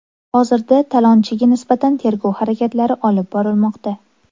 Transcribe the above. Hozirda talonchiga nisbatan tergov harakatlari olib borilmoqda.